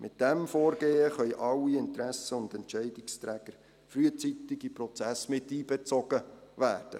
Mit diesem Vorgehen können alle Interessen und Entscheidungsträger frühzeitig in den Prozess miteinbezogen werden.